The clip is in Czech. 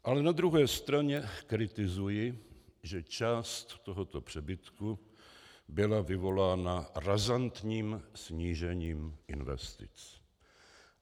Ale na druhé straně kritizuji, že část tohoto přebytku byla vyvolána razantním snížením investic.